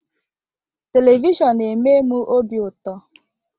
Televishọnụ na-eme m obi ụtọ.